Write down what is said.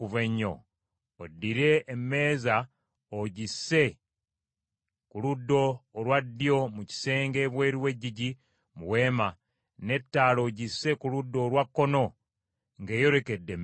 Oddire emmeeza ogisse ku ludda olwa ddyo mu kisenge ebweru w’eggigi mu Weema, n’ettaala ogisse ku ludda olwa kkono ng’eyolekedde emmeeza.